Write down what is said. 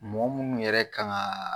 Mɔgɔ minnu yɛrɛ kan ka